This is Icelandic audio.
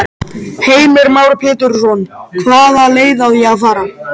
Heimir Már Pétursson: Hvaða leið á að fara?